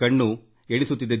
ಕಣ್ಣುಗಳು ನಿರೀಕ್ಷೆಯಲ್ಲಿವೆ